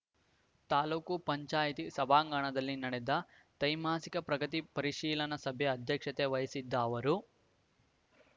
ತಾಲೂಕು ಪಂಚಾಯಿತಿ ಸಭಾಂಗಣದಲ್ಲಿ ನಡೆದ ತ್ರೈಮಾಸಿಕ ಪ್ರಗತಿ ಪರಿಶೀಲನಾ ಸಭೆ ಅಧ್ಯಕ್ಷತೆ ವಹಿಸಿದ್ದ ಅವರು